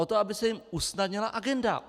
O to, aby se jim usnadnila agenda.